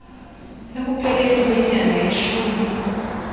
ekupheleni kwenyanga yeshumi